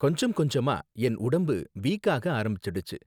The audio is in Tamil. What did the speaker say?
கொஞ்சம் கொஞ்சமா என் உடம்பு வீக் ஆக ஆரம்பிச்சுடுச்சு